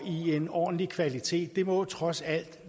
i en ordentlig kvalitet det må trods alt